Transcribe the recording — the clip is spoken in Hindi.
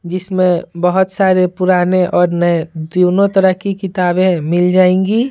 जिसमें बहुत सारे पुराने और नए दोनों तरह की किताबें मिल जाएंगी--